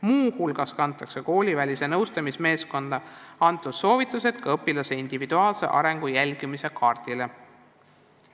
Muu hulgas kantakse koolivälise nõustamismeeskonna soovitused ka õpilase individuaalse arengu jälgimise kaardile.